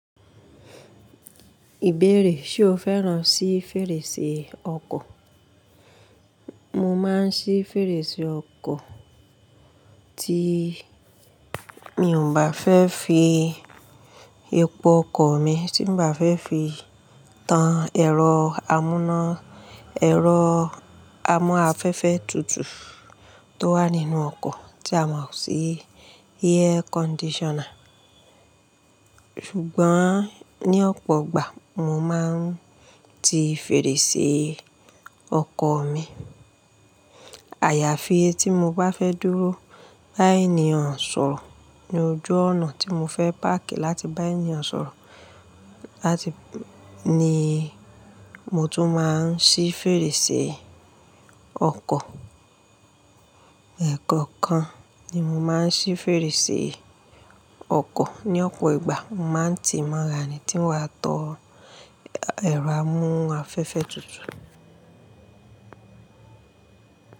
Ìbéèrè, ṣe o fẹ́ràn sí fèrèsé ọkọ̀? Mo máa ń ṣí fèrèsé ọkọ̀ tí mi ò bá fẹ́ fi epo ọkọ̀ mi, tí n bá fẹ́ fi tan ẹ̀rọ amúná, ẹ̀rọ amó afẹ́fẹ́ tutù tó wà nínú ọkọ̀ tí a mọ̀ sí air conditioner. Ṣùgbọ́n ní ọ̀pọ̀ ìgbà mo máa ń ti fèrèsé ọkọ̀ mi. Àyàfi etí mo bá fẹ́ dúró báyìí ní ọ̀sán, ní ojú ọ̀nà tí mo fẹ́ páàkì láti báyìí ní ọ̀sán láti-- ni mo tún máa ń ṣí fèrèsé ọkọ̀. Ẹ̀ẹ̀kan kan ni mo máa ń ṣí fèrèsé ọkọ̀. Ní ọ̀pọ̀ ìgbà mo máa ń ti mọ̀ra ni tí n wá to ẹ̀rọ amú afẹ́fẹ́ tutù.